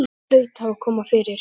Eitthvað hlaut að hafa komið fyrir.